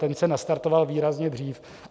Ten se nastartoval výrazně dřív.